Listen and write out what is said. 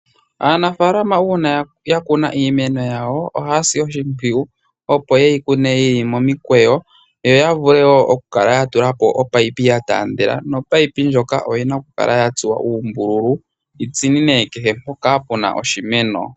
Aanafaalama uuna ya kuna iimeno yawo. Ohaya si oshimpwiyu opo ye yi kune yili momikweyo yo ya vule woo oku kala ya tula po ominino gwa taandela. Nomunino ngoka oguna oku kala gwa tsuwa uumbululu gu tsininene kehe mpoka puna oshimeno.